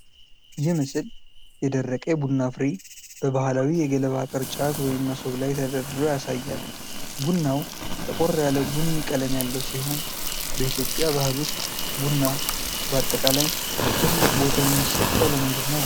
ይህ ምስል የደረቀ የቡና ፍሬ በባህላዊ የገለባ ቅርጫት (መሶብ) ላይ ተደርድሮ ያሳያል። ቡናው ጠቆር ያለ ቡኒ ቀለም ያለው ሲሆን፣ በኢትዮጵያ ባህል ውስጥ ቡና በአጠቃላይ ትልቅ ቦታ የሚሰጠው ለምንድን ነው?